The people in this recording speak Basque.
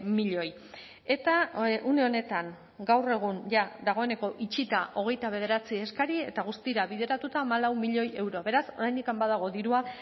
milioi eta une honetan gaur egun jada dagoeneko itxita hogeita bederatzi eskari eta guztira bideratuta hamalau milioi euro beraz oraindik badago dirua